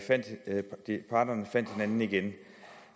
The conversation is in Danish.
parterne fandt hinanden igen